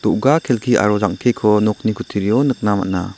do·ga kelki aro jang·keko nokni kutturio nikna man·a.